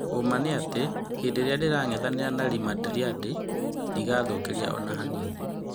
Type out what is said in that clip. " ũũma nĩatĩ hĩndĩĩrĩa ndĩrangethanĩra na Ri Mandrinda ndĩgathũkĩria ona hanini.